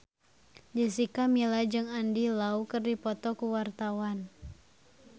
Jessica Milla jeung Andy Lau keur dipoto ku wartawan